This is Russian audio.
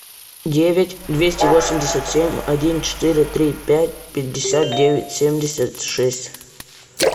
девять двести восемьдесят семь один четыре три пять пятьдесят девять семьдесят шесть